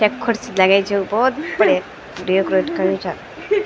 क्य खुर्सी लगयीं च भोत बढ़िया डेकोरेट कर्युं चा।